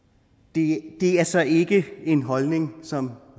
det er så ikke en holdning som